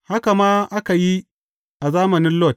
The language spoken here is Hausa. Haka ma aka yi a zamanin Lot.